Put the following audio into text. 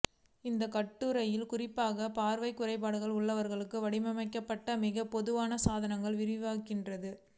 இந்தக் கட்டுரையில் குறிப்பாக பார்வைக் குறைபாடுகள் உள்ளவர்களுக்கு வடிவமைக்கப்பட்ட மிகவும் பொதுவான சாதனங்கள் விவரிக்கிறது